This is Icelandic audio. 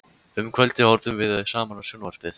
Um kvöldið horfðum við saman á sjónvarpið.